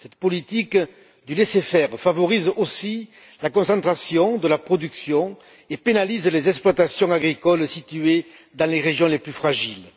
Cette politique du laissez faire favorise aussi la concentration de la production et pénalise les exploitations agricoles situées dans les régions les plus fragiles.